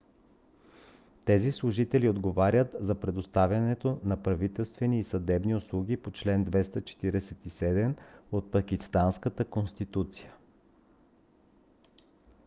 тези служители отговарят за предоставянето на правителствени и съдебни услуги по чл. 247 от пакистанската конституция